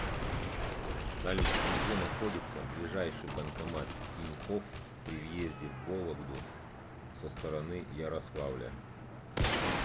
салют где находится ближайший банкомат тинькофф при въезде в вологду со стороны ярославля